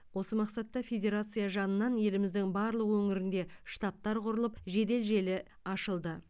осы мақсатта федерация жанынан еліміздің барлық өңірінде штабтар құрылып жедел желі ашылды